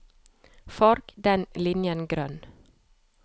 Farg denne linjen grønn